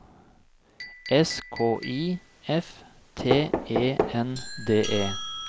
S K I F T E N D E